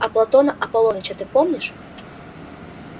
а платона аполлоныча-то помнишь